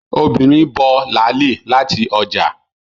Obìnrin bough láàlì láti ọjà